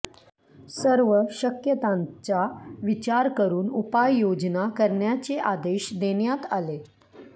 सर्व शक्यतांचा विचार करून उपाय योजना करण्याचे आदेश देण्यात आले